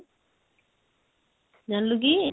ଜାଣିଲୁ କି?